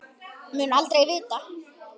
Mun aldrei vita.